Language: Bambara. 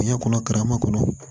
Diɲɛ kɔnɔ karama kɔnɔ